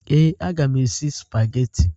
Ee, a mga m esi sụpagheti.